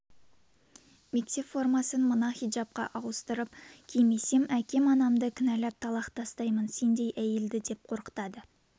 мектеп формасын мына хиджапқа ауыстырып кимесем әкем анамды кінәлап талақ тастаймын сендей әйелді деп қорқытады